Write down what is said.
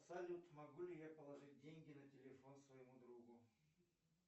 салют могу ли я положить деньги на телефон своему другу